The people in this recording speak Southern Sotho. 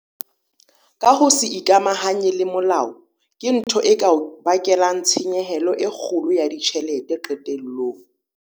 Ka ho se ikamahanye le molao, ke ntho e ka o bakelang tshenyehelo e kgolo ya ditjhelete qetellong.